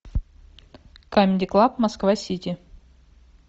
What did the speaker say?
камеди клаб москва сити